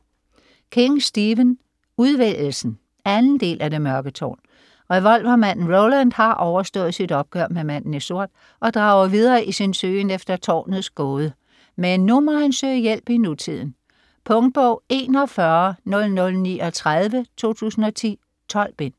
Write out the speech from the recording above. King, Stephen: Udvælgelsen 2. del af Det mørke tårn. Revolvermanden Roland har overstået sit opgør med "Manden i sort" og drager videre i sin søgen efter Tårnets gåde. Men nu må han søge hjælp i nutiden. Punktbog 410039 2010. 12 bind.